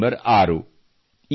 ಅದು ಡಿಸೆಂಬರ್ 6